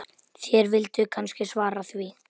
Þér vilduð kannski svara því.